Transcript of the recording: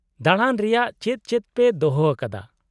-ᱫᱟᱬᱟᱱ ᱨᱮᱭᱟᱜ ᱪᱮᱫ ᱪᱮᱫ ᱯᱮ ᱫᱚᱦᱚ ᱟᱠᱟᱫᱟ ?